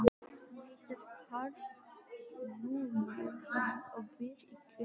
Hann heitir Karl Júlíusson og býr í Grindavík.